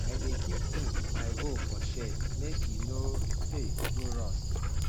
i dey keep um my hoe for shed make e no um go rust